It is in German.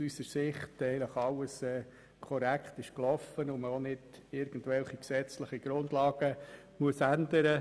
Aus unserer Sicht ist nämlich alles korrekt abgelaufen, und man muss auch nicht irgendwelche gesetzlichen Grundlagen ändern.